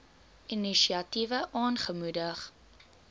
inisiatiewe aangemoedig